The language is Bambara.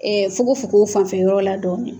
fokofoko fanfɛ yɔrɔ la dɔɔni